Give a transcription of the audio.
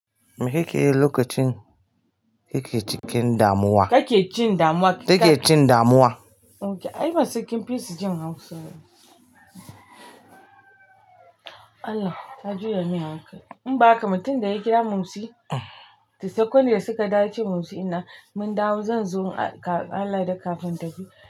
Mekayi lokacin kake cin kakecin damuwa ai basai kinfisu xin haushi ba Allah ka juyar min hankal. In baka mutum da ya kira Momsi, to sakon da suka yace Musi ina, mun dawo zan zo Allah da kafin tafi.